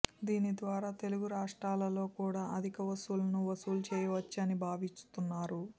దీనిద్వారా తెలుగు రాష్ట్రాలలో కూడా అధిక వసూళ్లను వసూలు చేయవచ్చిని భావిస్తున్నారు